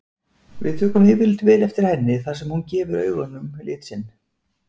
Við tökum yfirleitt vel eftir henni þar sem hún gefur augunum lit sinn.